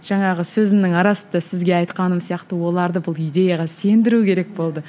жаңағы сөзімнің арасында сізге айтқаным сияқты оларды бұл идеяға сендіру керек болды